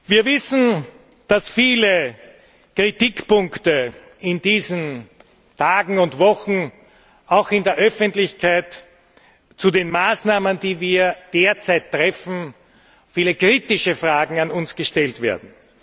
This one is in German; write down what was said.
Wir wissen, dass in diesen Tagen und Wochen auch in der Öffentlichkeit zu den Maßnahmen, die wir derzeit treffen, viele kritische Fragen an uns gestellt werden.